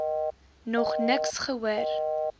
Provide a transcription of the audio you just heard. nog niks gehoor